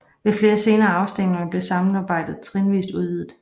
Ved flere senere afstemninger blev samarbejdet trinvis udvidet